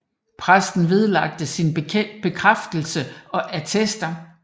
Præsten vedlagte sin bekræftelse og attester